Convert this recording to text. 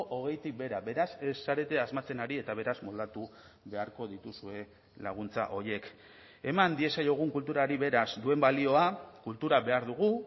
hogeitik behera beraz ez zarete asmatzen ari eta beraz moldatu beharko dituzue laguntza horiek eman diezaiogun kulturari beraz duen balioa kultura behar dugu